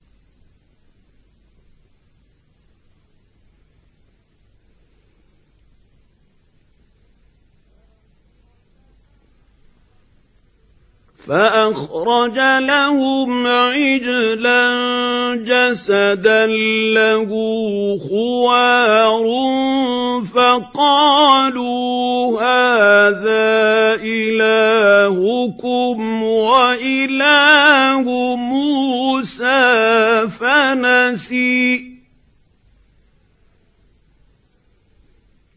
فَأَخْرَجَ لَهُمْ عِجْلًا جَسَدًا لَّهُ خُوَارٌ فَقَالُوا هَٰذَا إِلَٰهُكُمْ وَإِلَٰهُ مُوسَىٰ فَنَسِيَ